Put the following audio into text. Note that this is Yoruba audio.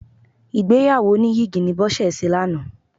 Ìgbéyàwó oníyìgì ni Bọ́sẹ̀ ṣe lánàá.